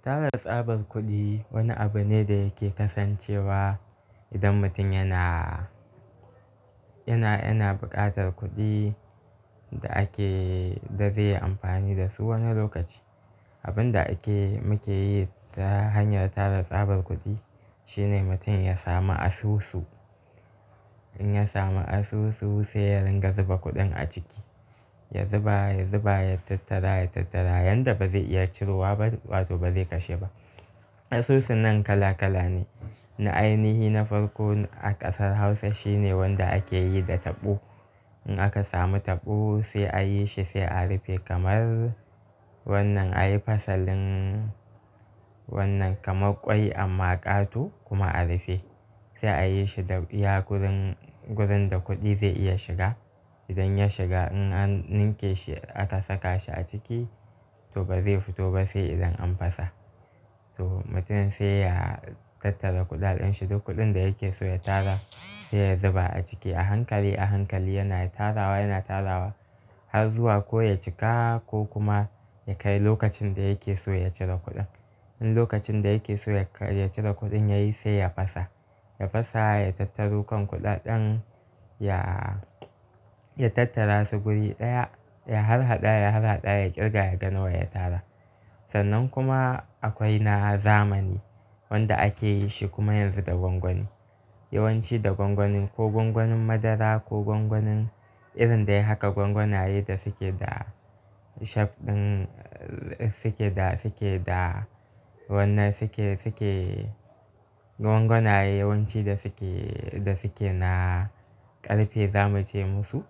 Tara tsabar kuɗi wani abu ne da yake kasancewa idan mutum yana, yana, yana buƙatar kuɗi da ake, da zai yi amfani da su wani lokaci. Abin da ake, muke yi ta hanyar tara tsabar kuɗi shine mutum ya sami asusu. In ya samu asusu sai ya ringa zuba kuɗin a ciki. Ya zuba, ya zuba, ya tattara, ya tattara yanda ba zai iya cirewa ba wato ba zai kashe ba. Asusu nan kala kala ne. Na ainihi na farko a ƙasar Hausa shine wanda ake yi da taɓo. In aka samu taɓo sai a yi shi sai a rufe kamar wannan, a yi fasalin wannan kamar kwai amma ƙato kuma a rufe. Sai a yi shi da iya gurin, gurin da kuɗi zai iya shiga. Idan ya shiga in an ninke shi, aka saka shi a ciki to ba zai fito ba sai idan an fasa. To mutumin sai ya tattara kuɗaɗen shi duk kuɗin da yake so ya tara sai ya zuba a ciki a hankali, a hankali yana tarawa, yana tarawa har zuwa ko ya cika ko kuma ya kai lokacin da yake so ya cire kuɗin. In lokacin da yake so ya kai, ya cire kuɗin ya yi sai ya fasa. Ya fasa ya tattaru kan kuɗaɗen, ya, ya tattara su guri ɗaya, ya harhaɗa, ya harhaɗa ya ƙirga ya ga nawa ya tara. Sannan kuma akwai na zamani wanda ake yi shi kuma yanzu da gwangwani. Yawanci da gwangwanin ko gwangwanin madara ko gwangwanin irin da yake haka gwangwanaye da suke da shaf ɗin, suke da, suke da wannan suke, suke gwangwanaye yawanci da suke, da suke na ƙarfe za mu ce musu.